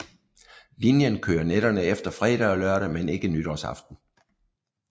Linjen kørte nætterne efter fredag og lørdag men ikke nytårsaften